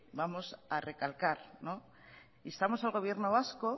vamos a recalcar instamos al gobierno vasco